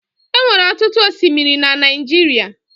Enwere ọtụtụ osimiri na Naijiria